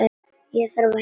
Ég þarf að hitta mann.